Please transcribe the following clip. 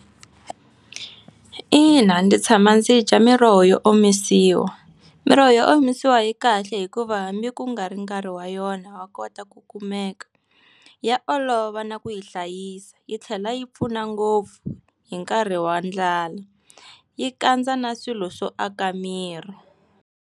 Ina ndzi tshama ndzi dya miroho yo omisiwa. Miroho yo omisiwa yi kahle hikuva hambi ku nga ri nkarhi wa yona ya kota ku kumeka. Ya olova na ku yi hlayisa yi tlhela yi pfuna ngopfu hi nkarhi wa ndlala. Yi kandza na swilo swo aka miri.